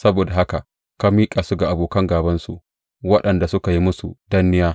Saboda haka ka miƙa su ga abokan gābansu waɗanda suka yi musu danniya.